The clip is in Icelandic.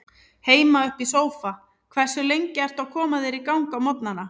Heima upp í sófa Hversu lengi ertu að koma þér í gang á morgnanna?